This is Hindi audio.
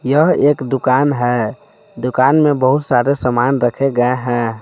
यह एक दुकान है दुकान में बहुत सारे सामान रखे गए हैं।